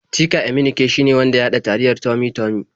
Chika Emenike shine wanda ya haɗa taliyar Tummy-Tummy.